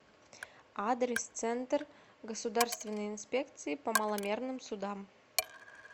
адрес центр государственной инспекции по маломерным судам